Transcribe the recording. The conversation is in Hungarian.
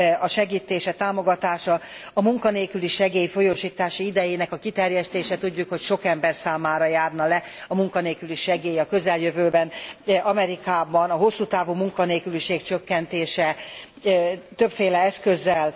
a segítése, támogatása, a munkanélküli segély folyósítási idejének a kiterjesztése tudjuk, hogy sok ember számára járna le a munkanélküli segély a közeljövőben Amerikában a hosszú távú munkanélküliség csökkentése többféle eszközzel.